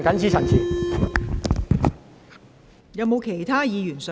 是否有其他議員想發言？